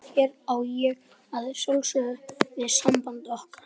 Hér á ég að sjálfsögðu við samband okkar.